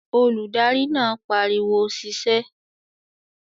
Olùdarí náà pariwo "sisẹ́"